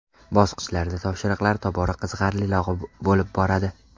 Bosqichlarda topshiriqlar tobora qiziqarliroq bo‘lib boradi.